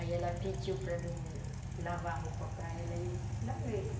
Aí ela pediu para mim lavar roupa para ela e eu lavei.